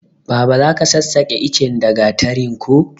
Baba zaka sassake ichen da gatari ko